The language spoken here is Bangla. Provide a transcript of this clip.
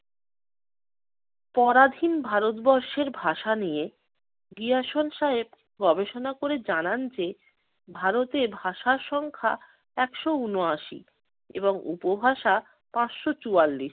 পরাধীন ভারতবর্ষের ভাষা নিয়ে বিয়সন সাহেব গবেষণা করে জানান যে ভারতে ভাষার সংখ্যা একশ ঊনআশি এবং উপভাষা পাঁচশ চুয়াল্লিশ।